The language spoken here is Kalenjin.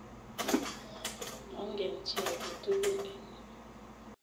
Mongen chi age tugul eng' yu.